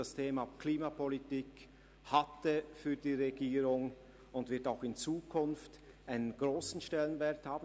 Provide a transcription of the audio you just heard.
Das Thema Klimapolitik hatte für die Regierung einen grossen Stellenwert und wird es auch in Zukunft haben.